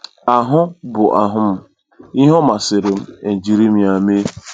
Ahụ bụ ahụ m, ihe ọ masịrị m e jiri m ya mee.